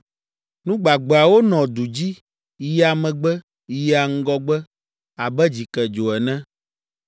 Nu gbagbeawo nɔa du dzi, yia megbe, yia ŋgɔgbe abe dzikedzo ene.